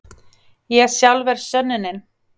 Ég sjálf er sönnunin.